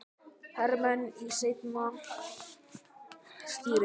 hermenn í seinna stríði.